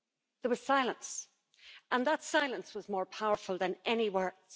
There was silence and that silence was more powerful than any words.